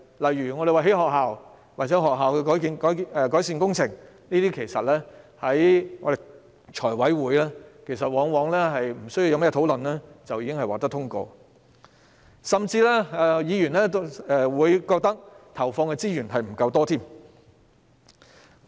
例如興建學校或進行學校改善工程的建議，在財務委員會上往往沒有甚麼爭議便通過，甚至有議員覺得投放的資源並不足夠。